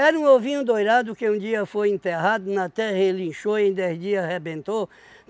um ovinho dourado que um dia foi enterrado na terra ele inchou em dez dias arrebentou.